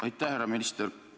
Aitäh, härra minister!